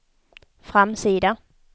framsida